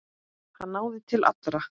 Hann náði til allra.